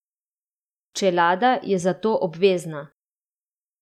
Čelada je zato obvezna!